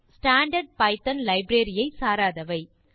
standard Python library ஐ சாராதவை